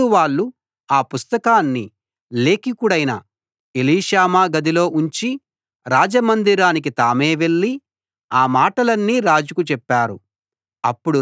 అప్పుడు వాళ్ళు ఆ పుస్తకాన్ని లేఖికుడైన ఎలీషామా గదిలో ఉంచి రాజమందిరానికి తామే వెళ్లి ఆ మాటలన్నీ రాజుకు చెప్పారు